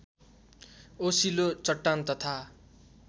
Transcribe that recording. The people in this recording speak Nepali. ओसिलो चट्टान तथा